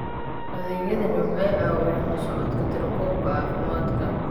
Adeegyadani waxay caawiyaan la socodka tirakoobka caafimaadka.